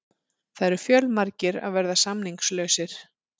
Það eru fjölmargir að verða samningslausir.